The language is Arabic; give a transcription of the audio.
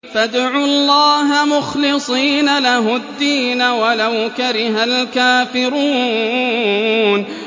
فَادْعُوا اللَّهَ مُخْلِصِينَ لَهُ الدِّينَ وَلَوْ كَرِهَ الْكَافِرُونَ